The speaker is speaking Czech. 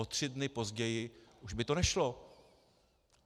O tři dny později už by to nešlo.